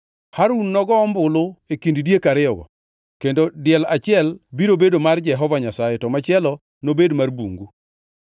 Harun nogo ombulu e kind diek ariyogo, kendo diel achiel biro bedo mar Jehova Nyasaye to machielo nobed mar bungu.